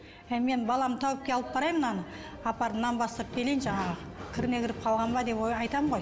әй менің баламды тәуіпке алып барайын мынаны апарып нан бастырып келейін жаңағы қалған ба деп ой айтамын ғой